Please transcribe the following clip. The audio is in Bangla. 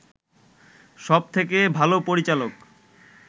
সব থেকে ভাল পরিচালক